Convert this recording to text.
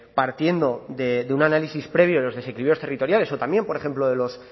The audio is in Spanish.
partiendo de un análisis previo de los desequilibrios territoriales o también por ejemplo de los